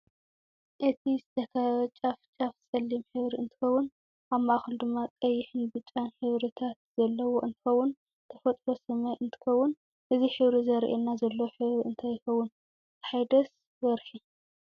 እዚዝተከበበ ጫፍ ጫፍ ፀለም ሕብሪ እንትከውን ኣብ ማእከሉ ድማ ቀይሕን ብጫን ሕብሪታት ዘለዎ እንትከውን ተፈጥቶ ሳማይ እንትከውን እዚ ሕብሪ ዘርእየና ዘሎ ሕብሪ እንታይ ይከውን ፀሓይ ዲስ ወርሕ?